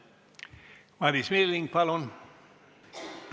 Madis Milling, palun!